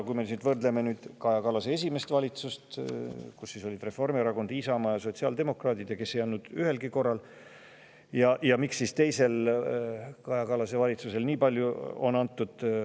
Kui me võrdleme Kaja Kallase esimest valitsust, kus olid Reformierakond, Isamaa ja sotsiaaldemokraadid ning kes ei andnud ühelgi korral niimoodi, tema teise valitsusega, siis, miks anti Kaja Kallase teise valitsuse ajal seda nii palju?